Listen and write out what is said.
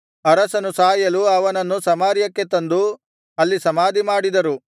ಅರಸನು ಸಾಯಲು ಅವನನ್ನು ಸಮಾರ್ಯಕ್ಕೆ ತಂದು ಅಲ್ಲಿ ಸಮಾಧಿ ಮಾಡಿದರು